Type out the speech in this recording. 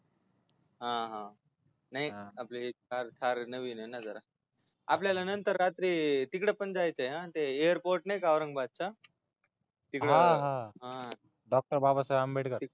हा हा नाही आपली थार नविन य ना जरा आपल्याला नंतर रात्री तिकड पण जायच ना ते एअरपोर्ट नाही का औरंगाबादच तिकड हा डॉक्टर बाबासाहेब आंबेडकर